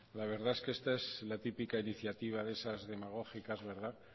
la verdad es que esta es la típica iniciativa de esas demagógicas